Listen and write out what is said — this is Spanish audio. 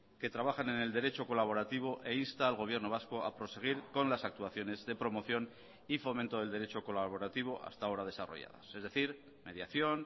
que trabajan en el derecho colaborativo e insta al gobierno vasco a proseguir con las actuaciones de promoción y fomento del derecho colaborativo hasta ahora desarrolladas es decir mediación